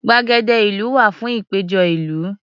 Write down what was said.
Gbàgede ìlú wà fún ìpéjọ ìlú.